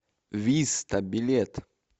виста билет